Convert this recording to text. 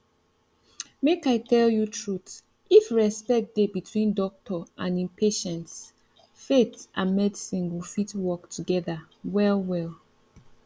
make i tell you truth if respect dey between doctor and him patients faith and medicine go fit work together well well